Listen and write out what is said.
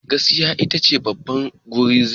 Gaskiya ita ce babban guzuri.